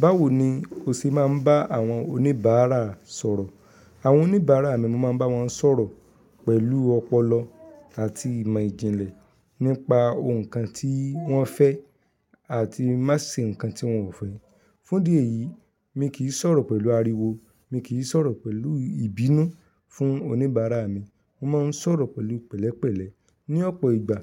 Báwo ni o ṣe máa ń bá àwọn oníbàárà sọ̀rọ̀? Àwọn oníbàárà mi mo máa ń bá wọn sọ̀rọ̀ pẹ̀lú ọpọlọ àti ìmọ̀ ìjìnlẹ̀ nípa ohun kan tí wọ́n fẹ́ àti má ṣe ǹkan tí wọ́n ò fẹ́. Fún idí eyì, mi kì í sọ̀rọ̀ pẹ̀lú ariwo, mi kì í sọ̀rọ̀ pẹ̀lú ìbínú fún oníbàárà mi. Mo máa ń sọ̀rọ̀ pẹ̀lú pẹ̀lẹ́pẹ̀lẹ́. Ni ọ̀pọ̀ ìgbà